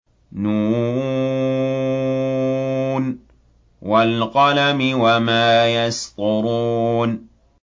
ن ۚ وَالْقَلَمِ وَمَا يَسْطُرُونَ